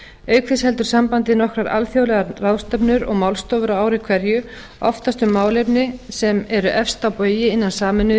auk þess heldur sambandið nokkrar alþjóðlegar ráðstefnur og málstofur á ári hverju oftast um málefni sem eru efst á baugi innan sameinuðu